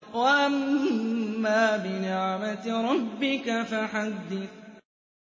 وَأَمَّا بِنِعْمَةِ رَبِّكَ فَحَدِّثْ